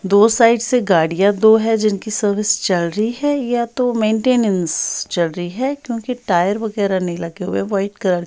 दो साइड से गाड़ियां दो हैं जिनकी सर्विस चल रही है या तो मेंटीनेंस चल रही है क्योंकि टायर वगैरह नहीं लगे व्हाईट कलर --